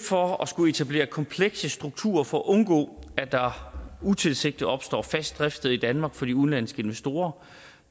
for at skulle etablere komplekse strukturer for at undgå at der utilsigtet opstår fast driftssted i danmark for de udenlandske investorer